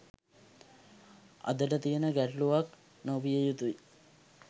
අදට තියෙන ගැටළුවක් නොවිය යුතුයි